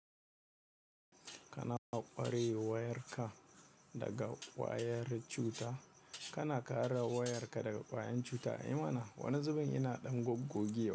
Kana ƙware wayarka daga kwayar cuta, kana kare wayarka daga ƙwayen cuta. I mana, wani zubin ina ɗan goggiya.